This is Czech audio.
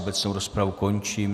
Obecnou rozpravu končím.